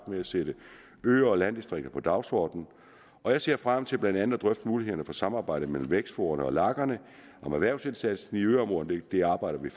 med at sætte øer og landdistrikter på dagsordenen og jeg ser frem til blandt andet at drøfte mulighederne for samarbejde mellem vækstforaene og lagerne om erhvervsindsatsen i yderområderne det arbejder vi